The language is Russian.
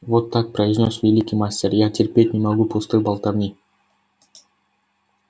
вот так произнёс великий мастер я терпеть не могу пустой болтовни